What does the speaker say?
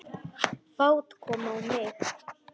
Fát kom á mig.